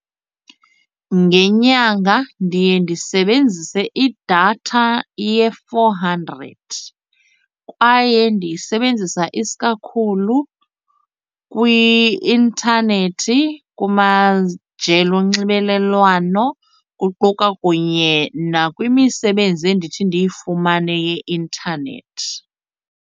Ngenyanga ndiye ndisebenzise idatha ye-four hundred kwaye ndiyisebenzisa isikakhulu kwi-intanethi kumajelo onxibelelwano, kuquka kunye nakwimisebenzi endithi ndiyifumane yeintanethi.